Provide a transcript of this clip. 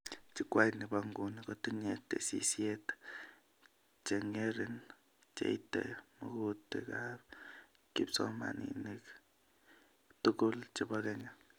Jukwait ni bo nguni kotinye tesisyit chengerin cheite magutikab kipsomanink tuguk chebo Kenya